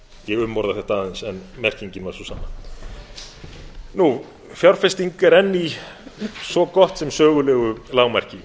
ég umorða þetta aðeins en merkingin var sú sama fjárfesting er enn í svo gott sem sögulegu lágmarki